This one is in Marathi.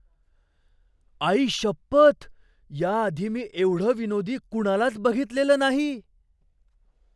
आईशपथ! याआधी मी एवढं विनोदी कुणालाच बघितलेलं नाही!